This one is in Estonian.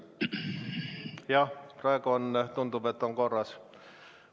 Jah, praegu tundub, et on korras.